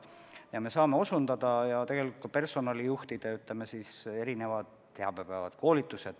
Me saame vajakajäämistele osutada ja tegelikult me korraldame personalijuhtidele erinevaid teabepäevi, koolitusi.